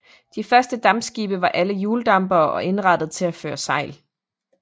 De første dampskibe var alle hjuldampere og indrettede til at føre sejl